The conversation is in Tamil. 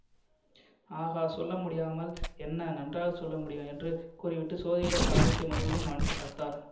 ஆகா சொல்ல முடியாமல் என்ன நன்றாக சொல்ல முடியும் என்று கூறிவிட்டு ஜோதிடர் ஜாதகத்தை மறுபடியும் கவனித்து பார்த்தார்